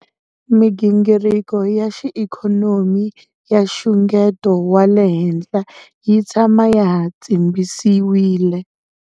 Migingiriko ya xiikhonomi ya nxungeto wa le henhla yi tshama ya ha tshimbisiwile.